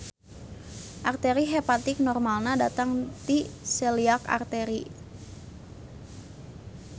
Arteri hepatik normalna datang ti celiac artery.